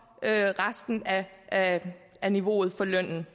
resten af af niveauet for lønnen